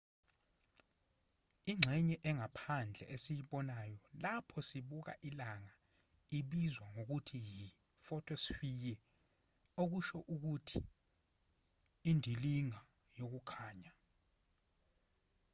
ingxenye engaphandle esiyibonayo lapho sibuka ilanga ibizwa ngokuthi yi-photosphere okusho ukuthi indilinga yokukhanya